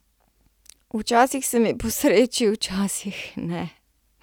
Včasih se mi posreči, včasih ne.